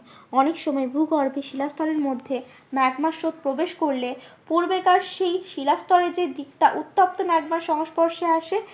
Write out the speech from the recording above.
অনেক সময় ভূগর্ভে শিলাস্তরের মধ্যে ম্যাগমা স্রোত প্রবেশ করলে পূর্বেকার সেই শিলা স্তরে যে দিকটা উত্তপ্ত ম্যাগমার সংস্পর্শে আসে